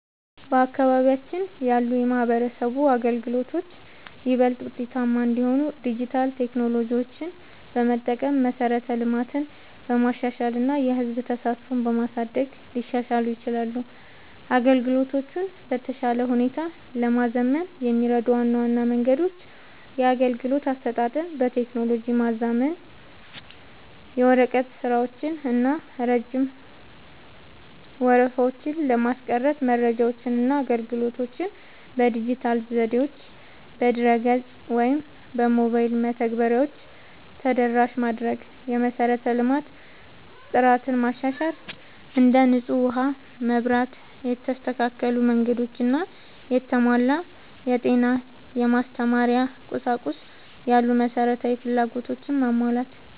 በአካባቢያችን ያሉ የማህበረሰብ አገልግሎቶች ይበልጥ ውጤታማ እንዲሆኑ ዲጂታል ቴክኖሎጂዎችን በመጠቀም፣ መሠረተ ልማትን በማሻሻል እና የህዝብ ተሳትፎን በማሳደግ ሊሻሻሉ ይችላሉ። አገልግሎቶቹን በተሻለ ሁኔታ ለማዘመን የሚረዱ ዋና ዋና መንገዶች - የአገልግሎት አሰጣጥን በቴክኖሎጂ ማዘመን፦ የወረቀት ስራዎችን እና ረጅም ወረፋዎችን ለማስቀረት መረጃዎችንና አገልግሎቶችን በዲጂታል ዘዴዎች (በድረ-ገጽ ወይም በሞባይል መተግበሪያዎች) ተደራሽ ማድረግ። የመሠረተ ልማት ጥራትን ማሻሻል፦ እንደ ንጹህ ውሃ፣ መብራት፣ የተስተካከሉ መንገዶች እና የተሟላ የጤና/የማስተማሪያ ቁሳቁስ ያሉ መሠረታዊ ፍላጎቶችን ማሟላት።